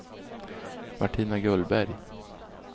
Martina Gullberg